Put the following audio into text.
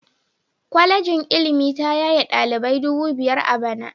Kwalejin ilimi ta yaye dalibai dubu biyar a bana